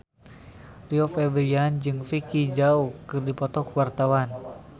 Rio Febrian jeung Vicki Zao keur dipoto ku wartawan